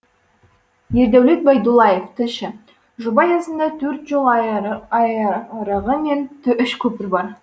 ердәулет байдуллаев тілші жоба аясында төрт жол айырығы мен үш көпір бар